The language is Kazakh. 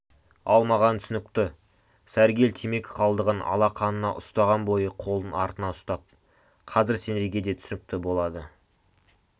ал маған түсінікті сәргел темекі қалдығын алақанына уыстаған бойы қолын артына ұстап қазір сендерге де түсінікті болады